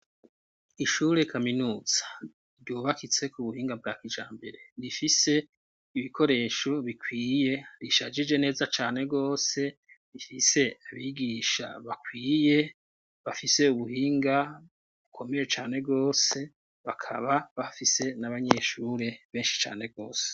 Ishure kaminuza ryubakitse ku buhinga bwa kijambere, rifise ibikoresho bikwiye, rishajije neza cane rwose, rifise abigisha bakwiye, bafise ubuhinga bukomeye cane rwose, bakaba bafise n'abanyeshure benshi cane rwose.